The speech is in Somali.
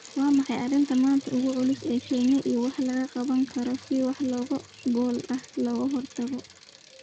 Waa maxay arrinta maanta ugu culus ee Kenya iyo waxa laga qaban karo si wax ku ool ah looga hortago